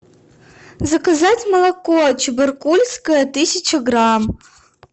заказать молоко чебаркульское тысяча грамм